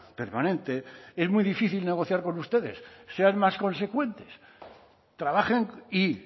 permanente es muy difícil negociar con ustedes sean más consecuentes trabajen y